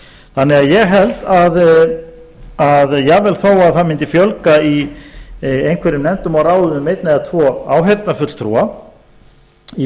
þannig að ég held að jafnvel þó að það mundi fjölga í einhverjum nefndum og ráðum um einn eða tvo áheyrnarfulltrúa í